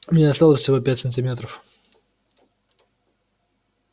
мне осталось всего пять сантиметров